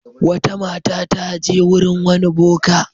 Wata mata ta je wurin wani boka.